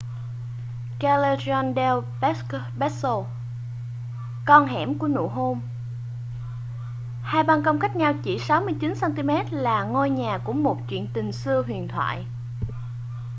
callejon del beso con hẻm của nụ hôn. hai ban công cách nhau chỉ 69 cm là ngôi nhà của một chuyện tình xưa huyền thoại